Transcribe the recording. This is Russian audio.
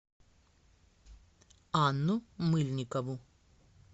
анну мыльникову